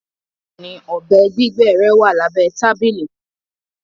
Bẹẹni, ọbẹ gbigbẹ rẹ wà lábẹ̀ tabili